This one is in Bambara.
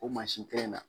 O mansin kelen na